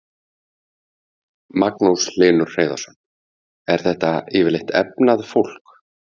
Magnús Hlynur Hreiðarsson: Er þetta yfirleitt efnað fólk?